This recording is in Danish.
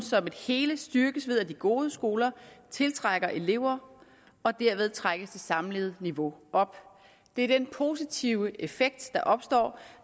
som et hele styrkes ved at de gode skoler tiltrækker elever og dermed trækkes det samlede niveau op det er den positive effekt der opstår